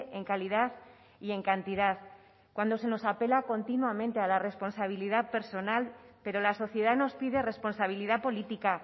en calidad y en cantidad cuando se nos apela continuamente a la responsabilidad personal pero la sociedad nos pide responsabilidad política